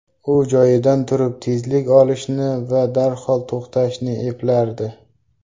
U joyidan turib tezlik olishni va darhol to‘xtashni eplardi.